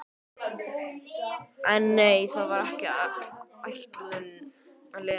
En nei, það var ekki ætlun Lenu.